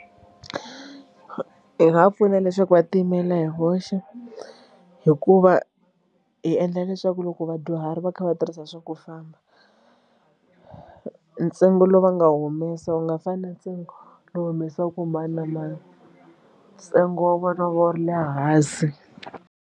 Hi nga va pfuna leswaku va tiyimela hi voxe hikuva hi endla leswaku loko vadyuhari va kha va tirhisa swa ku famba ntsengo lowu va nga humesa wu nga fani na ntsengo lowu humesiwaka hi mani na mani ntsengo wa vona wu ri le hansi.